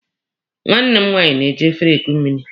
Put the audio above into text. Nwanne m nwaanyị na-eji efere eku nri.